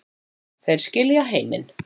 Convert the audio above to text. Þeir skilja heiminn